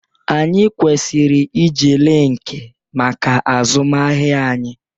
Anyị kwesịrị iji linkin maka azụmahịa anyị